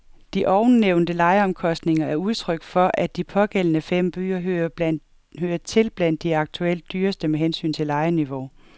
De ovennævnte lejeomkostninger er udtryk for, at de pågældende fem byer hører til blandt de aktuelt dyreste med hensyn til lejeniveau.